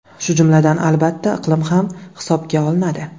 Shu jumladan, albatta, iqlim ham hisobga olinadi.